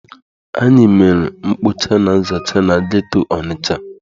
Anyị mere mkpocha na nzacha na ghetto Ọnịcha.